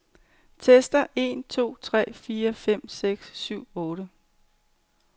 Tester en to tre fire fem seks syv otte.